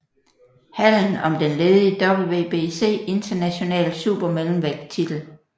Hallen om den ledige WBC International Supermellemvægttitel